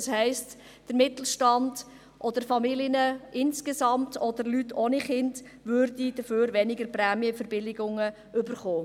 Das heisst: Der Mittelstand, Familien insgesamt, also auch Familien ohne Kinder, würden insgesamt weniger Prämienverbilligungen erhalten.